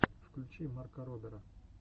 включи марка робера